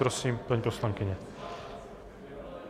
Prosím, paní poslankyně.